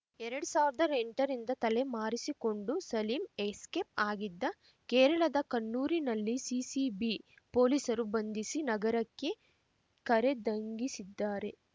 ಎರ್ಡ್ ಸಾವಿರ್ದಾ ಎಂಟರಿಂದ ತಲೆ ಮರೆಸಿಕೊಂಡು ಸಲೀಂ ಎಸ್ಕೇಪ್‌ ಆಗಿದ್ದ ಕೇರಳದ ಕಣ್ಣನೂರಿನಲ್ಲಿ ಸಿಸಿಬಿ ಪೊಲೀಸರು ಬಂಧಿಸಿ ನಗರಕ್ಕೆ ಕರೆದಂಗಿಸಿದ್ದಾರೆ